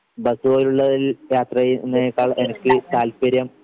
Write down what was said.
bus പോലുള്ളതിൽ യാത്ര ചെയ്യുന്നതിനേക്കാൾ എനിക്ക് താല്പര്യം